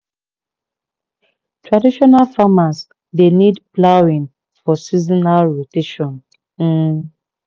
traditional farmers dey need ploughing for seasonal rotation. um